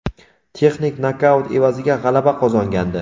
texnik nokaut evaziga g‘alaba qozongandi.